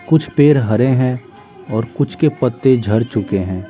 कुछ पेड़ हरे हैंऔर कुछ के पत्ते झर चुके हैं।